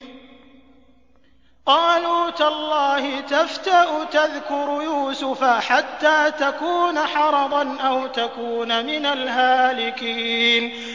قَالُوا تَاللَّهِ تَفْتَأُ تَذْكُرُ يُوسُفَ حَتَّىٰ تَكُونَ حَرَضًا أَوْ تَكُونَ مِنَ الْهَالِكِينَ